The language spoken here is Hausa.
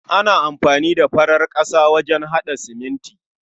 Ana amfani da farar ƙasa wajen haɗa siminti.